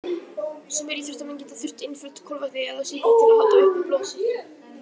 Sumir íþróttamenn geta þurft einföld kolvetni eða sykur til að halda uppi blóðsykri.